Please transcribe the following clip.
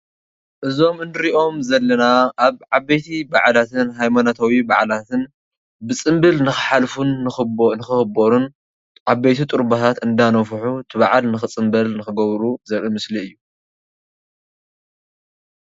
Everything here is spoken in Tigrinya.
እዚም እንሪኦም ዘለና አብ ዓበይቲ በዓላትን አብ ሃይማኖታዊ በዓላትን ብፅብል ንክሓልፍ ንክክበሩን ዓበይቲ ጥሩባታት እናነፉሑ እቲ በዓል ንክፅበል ንክገብሩ ዘርኢ ምስሊ እዩ፡፡